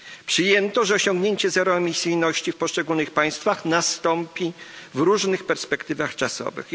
Przyjęto, że osiągnięcie zeroemisyjności w poszczególnych państwach nastąpi w różnych perspektywach czasowych.